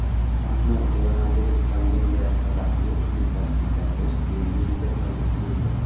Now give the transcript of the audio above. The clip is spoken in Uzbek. Ammo koronavirus pandemiyasi sababli uni tashkillashtirish keyingi muddatlarga surildi.